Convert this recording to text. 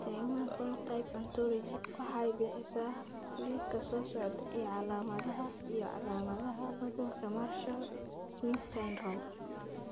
The Human Phenotype Ontology waxay bixisaa liiska soo socda ee calaamadaha iyo calaamadaha cudurka Marshall Smith syndrome.